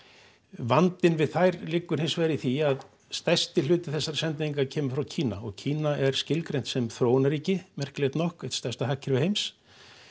vandinn við þær liggur hins vegar í því að stærsti hluti þessara sendinga kemur Kína og Kína er skilgreint sem þróunarríki merkilegt nokk eitt stærsta hagkerfi heims